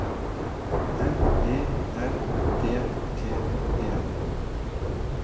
M E L D T E